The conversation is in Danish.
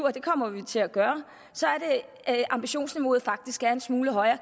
og det kommer vi til at gøre er ambitionsniveauet faktisk en smule højere